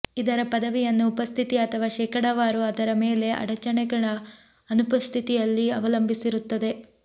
ಇದರ ಪದವಿಯನ್ನು ಉಪಸ್ಥಿತಿ ಅಥವಾ ಶೇಕಡಾವಾರು ಅದರ ಮೇಲೆ ಅಡಚಣೆಗಳ ಅನುಪಸ್ಥಿತಿಯಲ್ಲಿ ಅವಲಂಬಿಸಿರುತ್ತದೆ